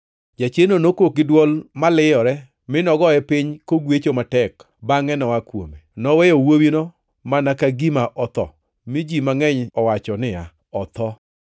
Jachiendno nokok gi dwol ma liyore mi nogoye piny kogwecho matek, bangʼe noa kuome. Noweyo wuowino mana ka gima otho, mi ji mangʼeny owacho niya, “Otho.”